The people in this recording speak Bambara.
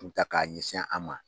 ta k'a ɲɛsin an ma.